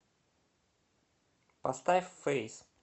поставь фэйс